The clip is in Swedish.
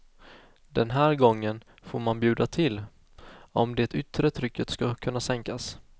Den här gången får man bjuda till, om det yttre trycket skall kunna sänkas.